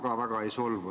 Ma ka väga ei solvu.